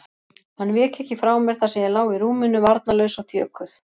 Hann vék ekki frá mér þar sem ég lá í rúminu, varnarlaus og þjökuð.